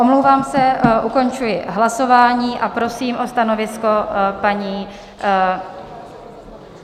Omlouvám se, ukončuji hlasování a prosím o stanovisko paní...